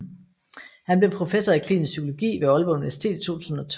Han blev professor i klinisk psykologi ved Aalborg Universitet i 2012